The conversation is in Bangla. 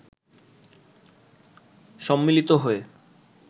সম্মিলিত হয়ে